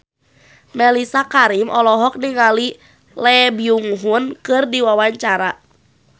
Mellisa Karim olohok ningali Lee Byung Hun keur diwawancara